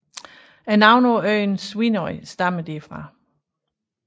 Navnet på øen Svínoy stammer derfra